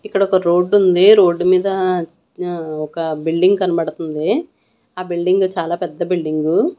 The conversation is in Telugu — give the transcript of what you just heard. ఇక్కడ ఒక రోడ్డు ఉంది రోడ్డు మీద ఒక బిల్డింగ్ కనబడతంది ఆ బిల్డింగ్ చాలా పెద్ద బిల్డింగు .